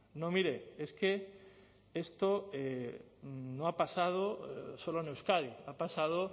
no mire es que esto no ha pasado solo en euskadi ha pasado